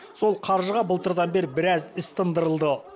сол қаржыға былтырдан бері біраз іс тындырылған